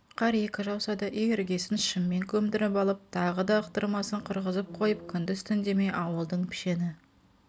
қар екі жауса да үй іргесін шыммен көмдіріп алып тағы да ықтырмасын құрғызып қойып күндіз-түн демей ауылдың пішені